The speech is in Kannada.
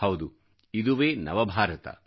ಹೌದು ಇದುವೆ ನವಭಾರತ